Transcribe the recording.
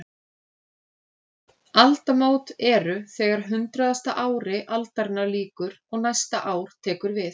Aldamót eru þegar hundraðasta ári aldarinnar lýkur og næsta ár tekur við.